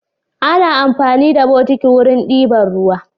Ana amfani da bokiti wurin diban ruwa